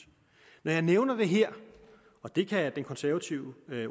når jeg nævner det her og det kan den konservative